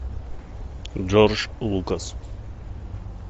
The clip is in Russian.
джордж лукас